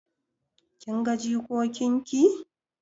Kin ga jikokin ki?